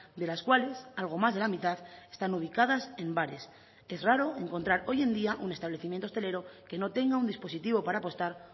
de las cuales algo más de la mitad están ubicadas en bares es raro encontrar hoy en día un establecimiento hostelero que no tenga un dispositivo para apostar